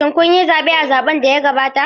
Shin kun yi zaɓe a zaɓen da ya gabata?